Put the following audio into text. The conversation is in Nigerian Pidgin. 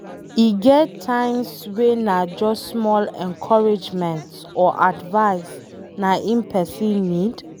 E get times wey na just small encouragement or advise na em pesin need